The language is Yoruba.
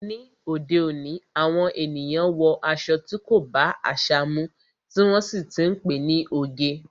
Ni òde òní, àwọn ènìyàn wọ aṣọ tí kò bá àṣà mu, tí wọ́n sì ti ń pe ní oge.